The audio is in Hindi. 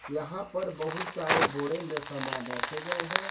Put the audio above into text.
यहां पर बहुत सारे बोरे में सामान रखे गए हैं।